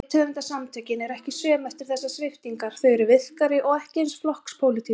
Rithöfundasamtökin eru ekki söm eftir þessar sviptingar, þau eru virkari- og ekki eins flokkspólitísk.